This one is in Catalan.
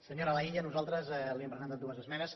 senyora laïlla nosaltres li hem presentat dues esmenes